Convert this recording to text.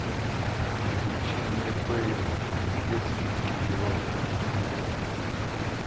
приключения бейли рождественский герой установи